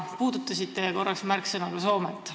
Korra mainisite ka Soomet.